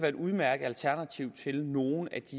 et udmærket alternativ til nogle af de